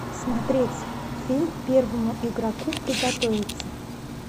смотреть фильм первому игроку приготовиться